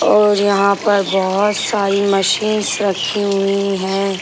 और यहाँ पर बहुत सारी मशीन्स रखी हुई हैं।